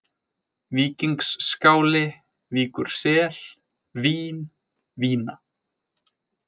Víkingsskáli, Víkursel, Vín, Vína